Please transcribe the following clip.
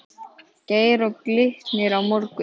Geir Og Glitnir á morgun?